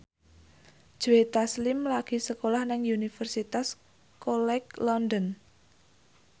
Joe Taslim lagi sekolah nang Universitas College London